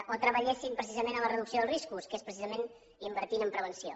o treballessin en la reducció dels riscos que és precisament invertint en prevenció